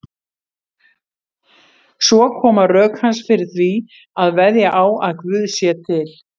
Svo koma rök hans fyrir því að veðja á að Guð sé til.